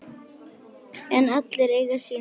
En allir eiga sína sögu.